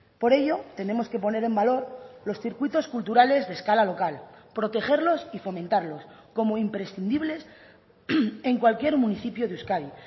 por ello tenemos que poner en valor los circuitos culturales de escala local protegerlos y fomentarlos como imprescindibles en cualquier municipio de euskadi